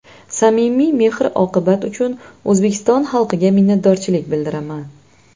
Samimiy mehr-oqibat uchun O‘zbekiston xalqiga minnatdorchilik bildiraman.